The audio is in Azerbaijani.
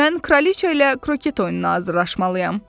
Mən kraliça ilə kroket oyununa hazırlaşmalıyam.